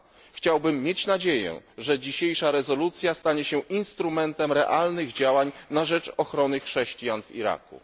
Chciałbym mieć nadzieję, że dzisiejsza rezolucja stanie się instrumentem realnych działań na rzecz ochrony chrześcijan w Iraku.